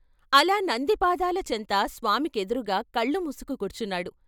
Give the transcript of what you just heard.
అలా నంది పాదాల చెంత స్వామి కెదురుగా కళ్లుమూసుకు కూర్చున్నాడు.